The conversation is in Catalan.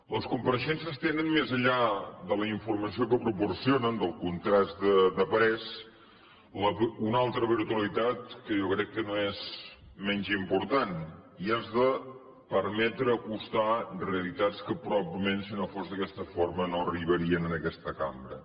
les compareixences tenen més enllà de la informació que proporcionen del contrast de parers una altra virtualitat que jo crec que no és menys important i és de permetre acostar realitats que probablement si no fos d’aquesta forma no arribarien a aquesta cambra